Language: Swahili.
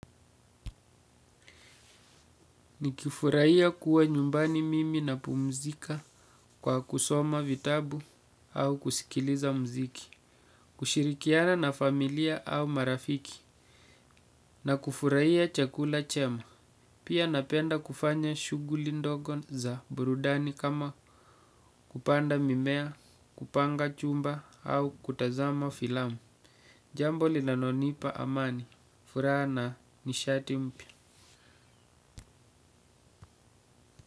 Nikifurahi kuwa nyumbani mimi napumzika kwa kusoma vitabu au kusikiliza muziki. Kushirikiana na familia au marafiki. Na kufurahia chakula chema. Pia napenda kufanya shughuli ndogo za burudani kama kupanda mimea, kupanga chumba au kutazama filamu. Jambo linanonipa amani. Furaha na nishati mpya.